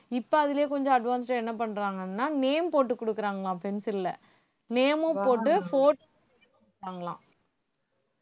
இப்ப அதுலயே கொஞ்சம் advanced ஆ என்ன பண்றாங்கன்னா name போட்டு குடுக்கறாங்களாம் pencil ல name மும் போட்டு pho~ கொடுக்கறாங்களாம்